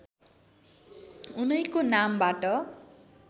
उनैको नामबाट